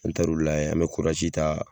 An mɛ taar'o lajɛ an mɛ ta.